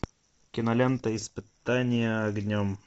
кинолента испытание огнем